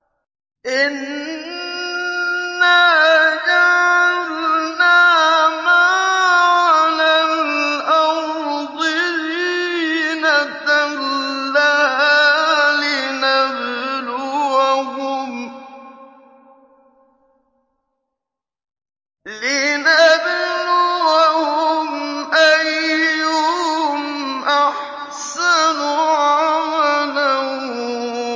إِنَّا جَعَلْنَا مَا عَلَى الْأَرْضِ زِينَةً لَّهَا لِنَبْلُوَهُمْ أَيُّهُمْ أَحْسَنُ عَمَلًا